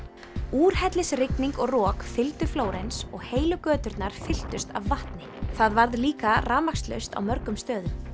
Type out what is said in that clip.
úrhellisrigning og rok fylgdu Flórens og heilu göturnar fylltust af vatni það varð líka rafmagnslaust á mörgum stöðum